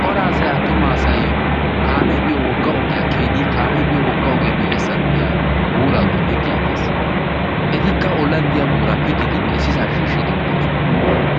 Cora asay attuma asay kaamee biyo wogga ogiyaa kiyidi kaamee biyo wogga ogiyaa miiyyessan diya buuraaduwaa pittiiddees etikka ollanddiya buuraa pittiidinne issisaa shiishshiiddine doosona